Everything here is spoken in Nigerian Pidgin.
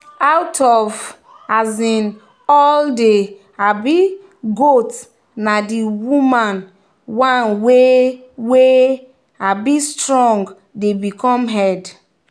out of um all the um goats na the woman one wey wey um strong dey become head.